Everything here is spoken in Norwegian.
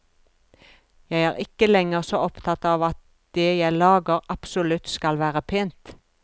Jeg er ikke lenger så opptatt av at det jeg lager absolutt skal være pent.